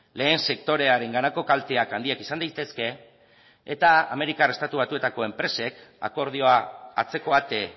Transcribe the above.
lehen sektorearenganako kalteak handiak izan daitezke eta amerikar estatu batuetako enpresek akordioa atzeko ate